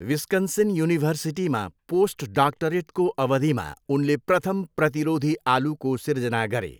Wisconsin युनिभर्सिटीमा post डाक्टरेटको अवधिमा उनले प्रथम प्रतिरोधी आलुको सिर्जना गरे।